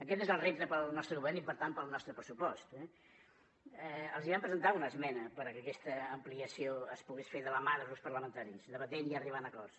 aquest és el repte per al nostre govern i per tant per al nostre pressupost eh els vam presentar una esmena perquè aquesta ampliació es pogués fer de la mà dels grups parlamentaris debatent i arribant a acords